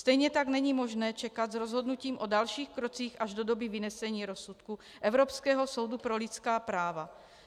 Stejně tak není možné čekat s rozhodnutím o dalších krocích až do doby vynesení rozsudku Evropského soudu pro lidská práva.